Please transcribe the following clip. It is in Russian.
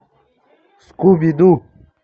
скуби ду